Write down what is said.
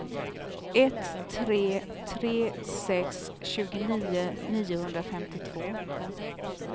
ett tre tre sex tjugonio niohundrafemtiotvå